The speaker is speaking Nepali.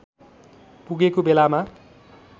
पुगेको बेलामा